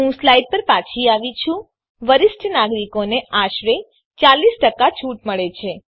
હું સ્લાઈડ પર પાછી આવી છું વરિષ્ઠ નાગરિકોને આશરે ૪૦ છૂટ મળે છે